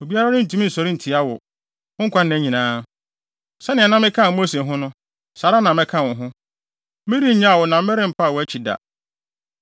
Obiara rentumi nsɔre ntia wo, wo nkwanna nyinaa. Sɛnea na mekaa Mose ho no, saa ara na mɛka wo ho. Merennyaw wo na merempa wʼakyi da.